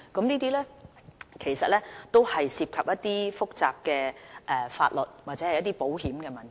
這些其實涉及複雜的法律或保險問題。